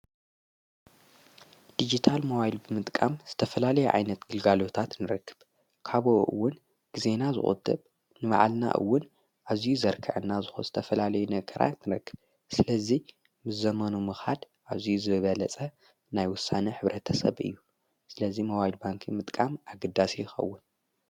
ዲጅታል ሞባይል ብምጥቃም ዝተፈላለይ ዓይነት ግልጋልታት ንረክብ። ካብ እውን ጊዜና ዝቁጥብ ንባዓልና ኡውን ኣዙይ ዘርከዐና ዝኾነ ዝተፈላለዩ ነገራ ንረክብ። ስለዙይ ምስ ዘመኑ ምኻድ ኣዙይ ዝበለጸ ናይ ውሳነ ሕብረ ተሰብ እዩ ስለዙይ ሞባይል ባንኪ ምጥቃም ኣግዳሲ ይኸውን።